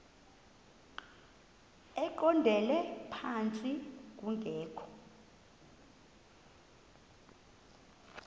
eqondele phantsi kungekho